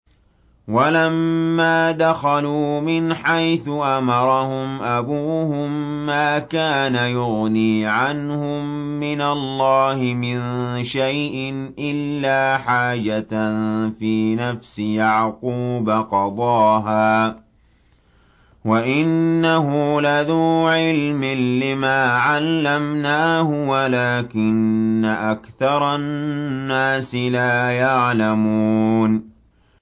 وَلَمَّا دَخَلُوا مِنْ حَيْثُ أَمَرَهُمْ أَبُوهُم مَّا كَانَ يُغْنِي عَنْهُم مِّنَ اللَّهِ مِن شَيْءٍ إِلَّا حَاجَةً فِي نَفْسِ يَعْقُوبَ قَضَاهَا ۚ وَإِنَّهُ لَذُو عِلْمٍ لِّمَا عَلَّمْنَاهُ وَلَٰكِنَّ أَكْثَرَ النَّاسِ لَا يَعْلَمُونَ